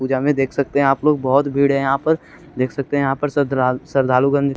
पूजा में देख सकते हैं आप लोग बहुत भीड़ है यहाँ पर देख सकते हैं यहाँ पर श्रद्धा श्रद्धालु गंज--